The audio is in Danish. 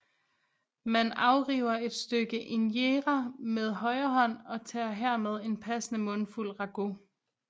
Man afriver et stykke injera med højre hånd og tager hermed en passende mundfuld ragout